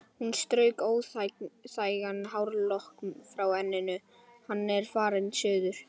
Hún strauk óþægan hárlokk frá enninu: Hann er farinn suður